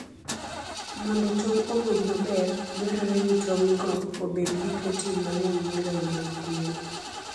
Mondo tong' owuog maber, dwarore ni tong'go obed gi protein mang'eny moloyo mag gwen.